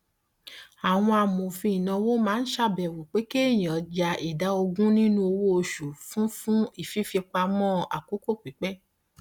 àwọn amòfin ìnáwó máa ń ṣàbẹwò pé kéèyàn ya ìdá ogun nínú owó oṣù fún fún fífipamọ àkókò pípẹ